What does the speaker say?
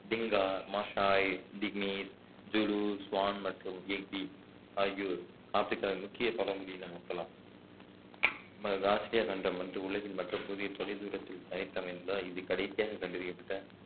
Dinka Maasai திக்மீர் Zulu சுவான் மற்றும் ஆகியோர் ஆப்பிரிக்காவின் முக்கிய பழங்குடியின மக்களாகும் கண்டம் வந்து உலகின் மற்ற பகுதியின் தொலைதூரத்தில் தனித்தமைந்ததால் இது கடைசியாக கண்டறியப்பட்ட